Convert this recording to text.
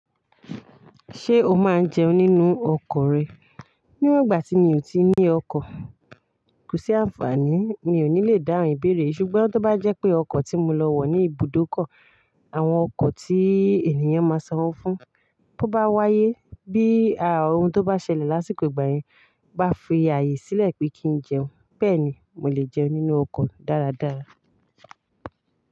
Ṣé o máa ń jẹun nínú ọkọ̀ rẹ? Níwọ̀n ìgbà tí mi ò tí ì ní ọkọ̀, kò sí àǹfààní, mi ò ní lè dáhùn ìbéèrè. Ṣùgbọ́n tó bá jẹ́ pé ọkọ̀ tí mo lọ wọ̀ ní ibùdókọ̀, àwọn ọkọ̀ tií ènìyàn máa sanwó fún, tó bá wáyé, bí a ohun tó bá ṣẹlẹ̀ lásìkò ìgbà yẹn bá fi ààyè sílẹ̀ pé kí n jẹun, bẹ́ẹ̀ ni mò lè jẹun nínú ọkọ̀ dáradára.